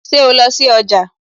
Ṣé o lọ sí ọjà?